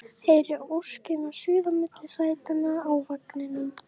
Heyri óskina suða milli sætanna í vagninum